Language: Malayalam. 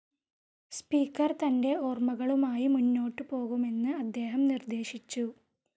സ്പീക്കർ തൻ്റെ ഓർമകളുമായി മുന്നോട്ടുപോകുമെന്ന് അദ്ദേഹം നിർദേശിച്ചു.